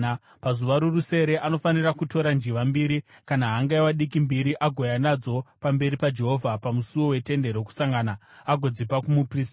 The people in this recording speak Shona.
Pazuva rorusere anofanira kutora njiva mbiri kana hangaiwa diki mbiri agouya nadzo pamberi paJehovha pamusuo weTende Rokusangana agodzipa kumuprista.